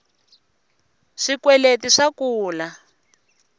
swikweleti swa kula